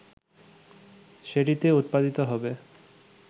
সেটিতে উৎপাদিত হবে